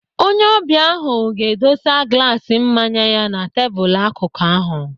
Onye ọbịa ahụ ga-edosa glaas mmanya ya na tebụl akụ ahụ.